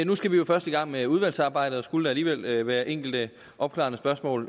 nu skal vi jo først i gang med udvalgsarbejdet og skulle der alligevel være enkelte opklarende spørgsmål